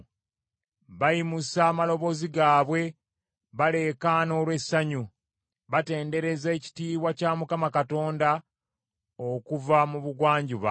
Bayimusa amaloboozi gaabwe, baleekaana olw’essanyu, batendereza ekitiibwa kya Mukama Katonda okuva mu bugwanjuba.